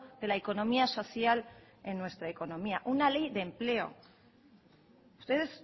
de la economía social en nuestra economía una ley de empleo ustedes